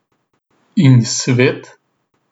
In svet?